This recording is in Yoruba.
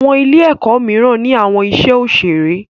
Àwọn Ilé-èkó míràn ní àwọn iṣé òṣeré.